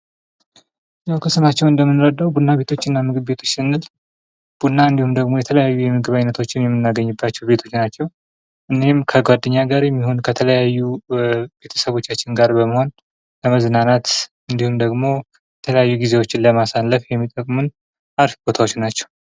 ያው ከስማቸው እንደምንረዳው ቡና ቤቶችና ምግብ ቤቶች ስንል ቡና እንዲሁም ደግሞ የተለያዩ የምግብ አይነቶችን የምናገኝባቸው ቤቶች ናቸው። እኒህም ከጓደኛ ጋር የሚሆን ከተለያዩ ቤተሰቦቻችን ጋር በመሆን ለመዝናናት እንዲሁም ደግሞ የተለያዩ ጊዜዎችን ለማሳለፍ የሚጠቅሙን አሪፍ ቦታዎች ናቸው።